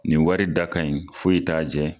Nin wari da kaɲi foyi t'a jɛ